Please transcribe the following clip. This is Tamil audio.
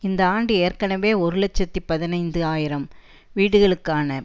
இந்த ஆண்டு ஏற்கனவே ஒரு இலட்சத்தி பதினைந்து ஆயிரம் வீடுகளுக்கான